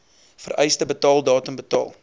vereiste betaaldatum betaal